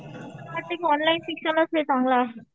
वाटतंय की ऑनलाईन शिक्षणच चांगलं आहे.